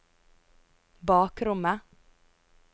bakrommet